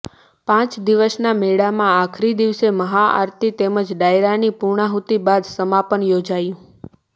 પાંચ દિવસના મેળામાં આખરી દિવસે મહાઆરતી તેમજ ડાયરાની પૂર્ણાહુતી બાદ સમાપન યોજાયું